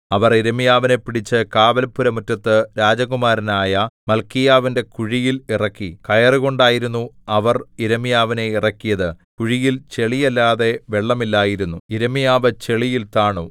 അവർ യിരെമ്യാവിനെ പിടിച്ച് കാവൽപ്പുരമുറ്റത്ത് രാജകുമാരനായ മല്ക്കീയാവിന്റെ കുഴിയിൽ ഇറക്കി കയറുകൊണ്ടായിരുന്നു അവർ യിരെമ്യാവിനെ ഇറക്കിയത് കുഴിയിൽ ചെളിയല്ലാതെ വെള്ളമില്ലായിരുന്നു യിരെമ്യാവ് ചെളിയിൽ താണു